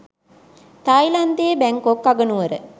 තායිලන්තයේ Bangkok අගනුවර